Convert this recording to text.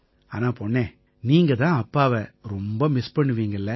ஆனா பொண்ணே நீங்க தான் அப்பாவை ரொம்ப மிஸ் பண்ணுவீங்க இல்லை